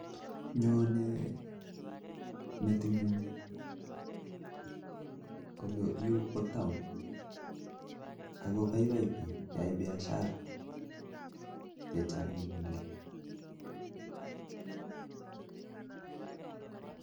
Nyonei metinyun kole Tu taon akoboiboi bik koyai biashara